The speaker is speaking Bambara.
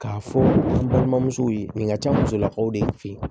K'a fɔ n balimamusow ye nin ka ca musolakaw de fe ye